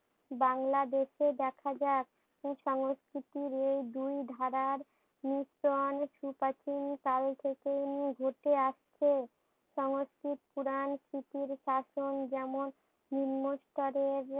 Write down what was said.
বাংলাদেশে দেখা যাক সংস্কৃতির এই দুই ধারার মিশ্রণ সু প্রাচীন কাল থেকে উম ঘটে আসছে। সংস্কৃত পুরান স্মৃতির কাতন যেমন নিম্নস্তরের